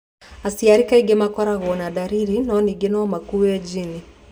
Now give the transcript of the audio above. Aciari kaingĩ matikoragwo na ndariri, no ningĩ no makuwe gene.